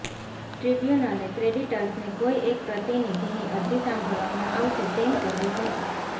ટ્રિબ્યૂનલે ક્રેડિટર્સને કોઈ એક પ્રતિનિધિની અરજી સાંભળવામાંઆવશે તેમ કહ્યું હતું